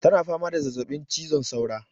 ta na fama da zazzabin cizon saura